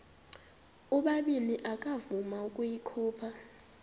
ubabini akavuma ukuyikhupha